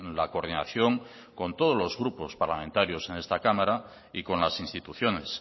la coordinación con todos los grupos parlamentarios en esta cámara y con las instituciones